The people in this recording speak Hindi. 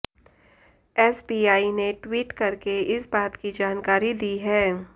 एसबीआई ने ट्वीट करके इस बात की जानकारी दी है